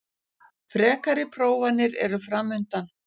Frekari prófanir eru framundan